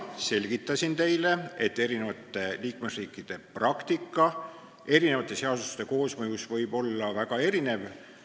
Selgitasin teile, et liikmesriikide praktika võib erinevate seaduste koosmõjus väga erinev olla.